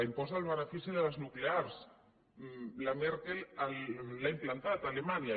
impost al benefici de les nuclears la merkel l’ha implantat a alemanya